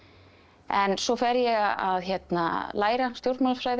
en svo fer ég að læra stjórnmálafræði